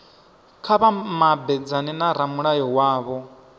kha vha mabedzane na ramulayo wavho